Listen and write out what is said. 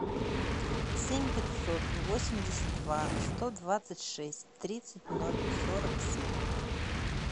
семь пятьсот восемьдесят два сто двадцать шесть тридцать ноль сорок семь